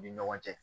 U ni ɲɔgɔn cɛ